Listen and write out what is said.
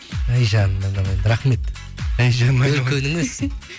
әй жаным айналайын рахмет өркенің өссін